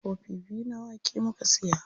Kofi biyu na wake muka siya.